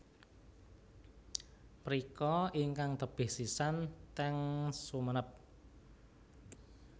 Mriko ingkang tebih sisan ten Sumenep